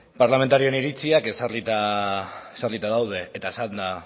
parlamentarioen iritziak ezarrita daude eta esanda